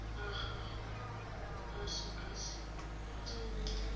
a gagwe a sekasekwe kgotsa